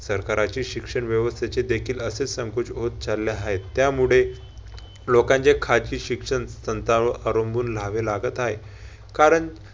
सरकाराचे शिक्षण व्यवस्थेचे देखील असेच संकुच होत चालले हाय. त्यामुळे लोकांचे खाजगी शिक्षण अवलंबून राहावे लागत हाय. कारण